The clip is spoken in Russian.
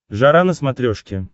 жара на смотрешке